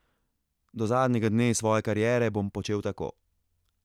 Do zadnjega dne svoje kariere bom počel tako.